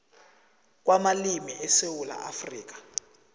kwamalimi esewula afrika